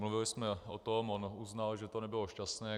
Mluvili jsme o tom, on uznal, že to nebylo šťastné.